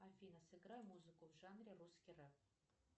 афина сыграй музыку в жанре русский реп